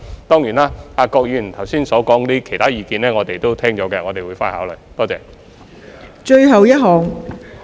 當然，郭議員剛才提出的其他意見，我們已聽到，並會回去考慮。